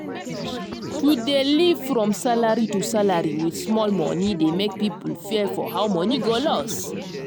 to dey live from salary to salary with small money dey make people fear for how money go loss